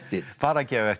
bara gefa eftir og